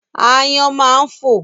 Aáyán máa ń fò.